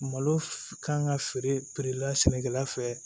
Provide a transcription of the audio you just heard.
Malo kan ka feere la sɛnɛkɛla fɛ